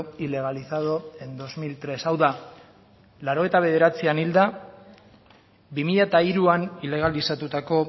ilegalizado en dos mil tres hau da laurogeita bederatzian hilda bi mila hiruan ilegalizatutako